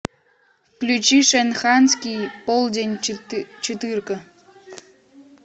включи шанхайский полдень четырка